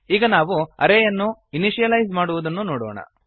ಈಗ ನಾವು ಅರೇ ಯನ್ನು ಇನಿಶಿಯಲೈಸ್ ಮಾಡುವುದನ್ನು ನೋಡೋಣ